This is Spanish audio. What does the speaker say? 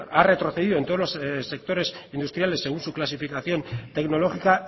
ha retrocedido en todos los sectores industriales según su clasificación tecnológica